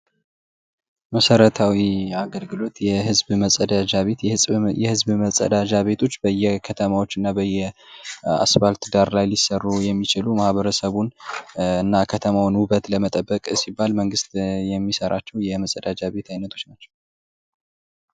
መሰረታዊ አገልግሎት የህዝብ መጸዳጃ ቤት፦ የህዝብ መጸዳጃ ቤቶች በየከተማው እና በየአስፋልት ዳር ሊሰሩ የሚችሉ የከተማውን ውበት እና ንጽህና ለመጠበቅ ሲባል መንግስት የሚሰራቸው የመጸዳጃ ቤት ዓይነቶች ናቸው።